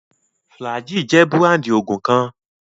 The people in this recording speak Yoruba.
Flagyl jẹ́ búráńdì òògùn kan.